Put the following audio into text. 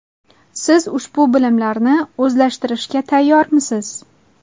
Siz ushbu bilimlarni o‘zlashtirishga tayyormisiz?